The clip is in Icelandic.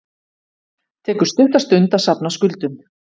Tekur stutta stund að safna skuldum